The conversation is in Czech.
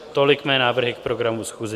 Tolik mé návrhy k programu schůze.